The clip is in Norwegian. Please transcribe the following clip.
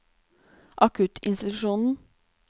akuttinstitusjonen